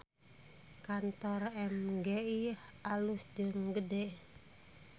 Kantor MGI alus jeung gede